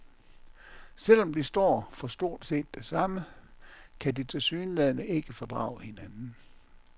Selv om de står for stort set det samme, kan de tilsyneladende ikke fordrage hinanden.